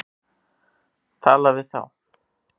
Tala við þá.